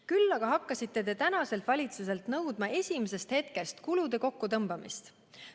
Küll aga hakkasite praeguselt valitsuselt nõudma esimesest hetkest kulude kokkutõmbamist.